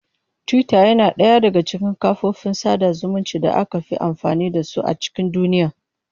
Twitter yana ɗaya daga cikin kafofin sada zumunci da aka fi amfani da su a cikin duniya.